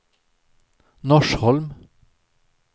Norsholm